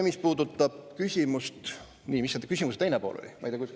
Mis selle küsimuse teine pool oli?